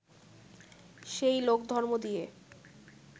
সেই লোকধর্ম দিয়ে